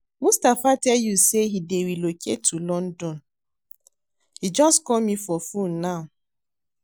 Mustapha tell you say he dey relocate to London? He just call me for phone now